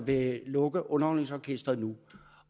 at lukke underholdningsorkestret nu